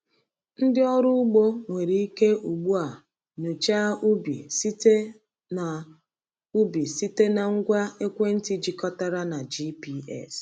Ndị ọrụ ugbo nwere ike ugbu a nyochaa ubi site na ubi site na ngwa ekwentị jikọtara na GPS.